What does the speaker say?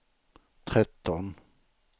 tretton